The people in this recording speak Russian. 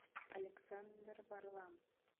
александр варлам